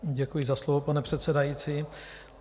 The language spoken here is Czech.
Děkuji za slovo, pane předsedající.